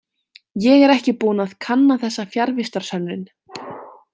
Ég er ekki búinn að kanna þessa fjarvistarsönnun.